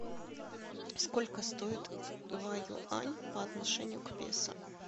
сколько стоит два юань по отношению к песо